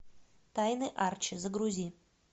тайны арчи загрузи